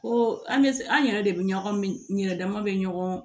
Ko an bɛ an yɛrɛ de bɛ ɲɔgɔn yɛrɛ dama bɛ ɲɔgɔn